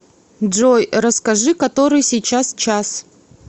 джой расскажи который сейчас час